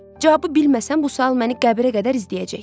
Cavabı bilməsəm bu sual məni qəbirə qədər izləyəcək.